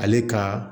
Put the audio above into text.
Ale ka